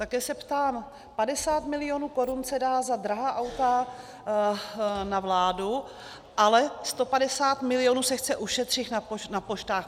Také se ptám - 50 milionů korun se dá za drahá auta na vládu, ale 150 milionů se chce ušetřit na poštách.